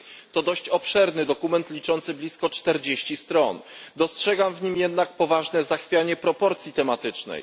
To dość obszerny dokument liczący blisko 40 stron, dostrzegam w nim jednak poważne zachwianie proporcji tematycznej.